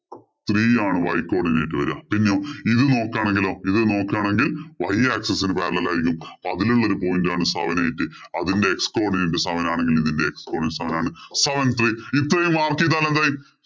three ആണ് y codinate വരിക. പിന്നെയോ ഇത് നോക്കുകയാണെങ്കിലോ ഇത് നോക്കുകയാണെങ്കില്‍ y axis ഇന് parallel ആയിരിക്കും. അപ്പൊ അതിലുള്ള ഒരു point ആണ് seven eight അതിന്‍റെ x codinate seven ആണെകില്‍ ഇതിന്‍റെ x coordinate seven ആണ്. seven three ഇത്രയും mark ചെയ്‌താല്‍ എന്തായി?